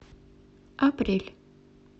апрель